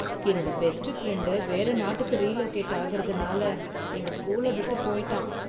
என்னோட best friend, வேற நாட்டுக்கு ரீ லொகேட் ஆகுறதுனால, எங்க ஸ்கூல விட்டு போயிட்டான்.